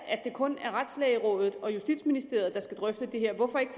kun er retslægerådet og justitsministeriet der skal drøfte det her hvorfor ikke